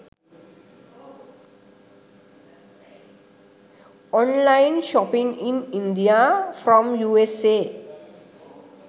online shopping in india from usa